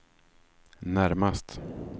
närmast